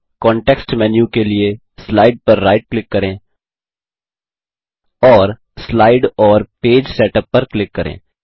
context menu के लिए slide पर राइट क्लिक करें और स्लाइड और पेज सेटअप पर क्लिक करें